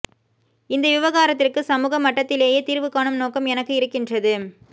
இந்த விவகாரத்திற்கு சமூக மட்டத்திலேயே தீர்வு காணும் நோக்கம் எனக்கு இருக்கின்றது